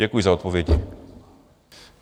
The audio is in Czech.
Děkuji za odpovědi.